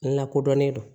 Lakodɔnnen do